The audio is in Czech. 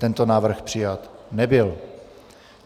Tento návrh přijat nebyl.